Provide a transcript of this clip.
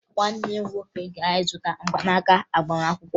Nwanne m nwoke gara ịzụta mgbanaaka agbamakwụkwọ